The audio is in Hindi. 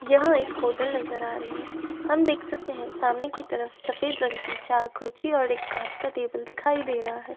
यह एक होटल नजर आ रही है। हम देख सकते हैं सामने की तरफ सफ़ेद रंग की चार कुर्सी और एक काँच की टेबल दिखाई दे रहा है।